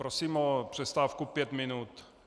Prosím o přestávku pět minut.